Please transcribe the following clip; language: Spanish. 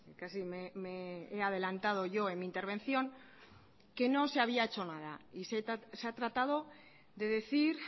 casi me he adelantado yo en mi intervención que no se había hecho nada y se ha tratado de decir